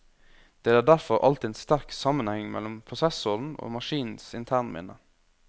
Det er derfor alltid en sterk sammenheng mellom prosessoren og maskinens internminne.